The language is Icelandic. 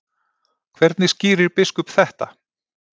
Hvernig skýrir biskup þetta?